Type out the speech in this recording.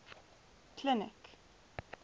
clinic